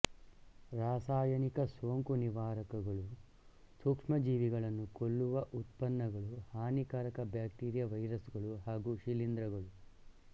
ರಾಸಾಯನಿಕ ಸೋಂಕು ನಿವಾರಕಗಳು ಸೂಕ್ಷ್ಮಜೀವಿಗಳನ್ನು ಕೊಲ್ಲುವ ಉತ್ಪನ್ನಗಳುಹಾನಿಕರ ಬ್ಯಾಕ್ಟೀರಿಯ ವೈರಸ್ ಗಳು ಹಾಗು ಶಿಲೀಂಧ್ರಗಳು